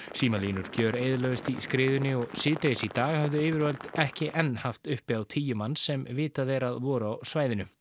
símalínur gjöreyðilögðust í skriðunni og síðdegis í dag höfðu yfirvöld ekki enn haft uppi á tíu manns sem vitað er að voru á svæðinu